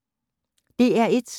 DR1